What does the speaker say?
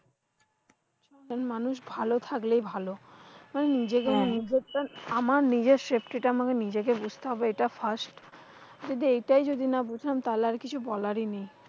মানুষ ভালো থাকলেই ভালো। নিজের দের নিজের তা, আমার নিজের safety টা আমাকে নিজেকে বুঝতে হবে এটা frist যদি এটাই যদি এইটাই যদি না বুঝান তাহলে কিছু বলারই নেই।